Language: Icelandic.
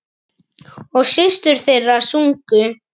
Og systur þeirra sungu.